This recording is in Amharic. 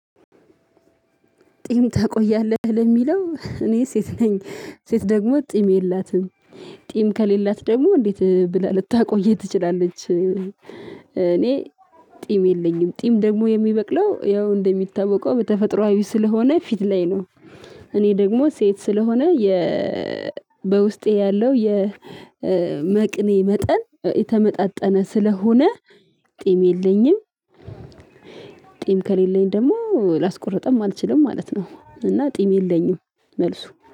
ጢም ታቆያለህ ለሚለው እኔ ሴት ነኝ ሴት ደግሞ ጢም የላትም ጢም ከሌላት ደግሞ እንዴት ብላ ልታቆይ ትችላለች? እኔ ጢም የለኝም ጢም ደግሞ የሚበቅለው ያው እንደሚታወቀው በተፈጥሮአዊ ስለሆነ ፊት ላይ ነው። እኔ ደግሞ ሴት ስለሆነ የ በውስጤ ያለው የመቅኔ መጠን የተመጣጠነ ስለሆነ ጢም የለኝም። ጢም ከሌለኝ ደግሞ ላስቆርጥም አልችልም ማለት ነው። እና ጢም የለኝም። መልሱ